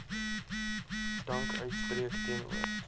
dank uitspreek teenoor